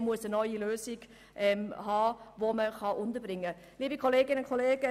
Man muss für die Unterbringung eine neue Lösung haben.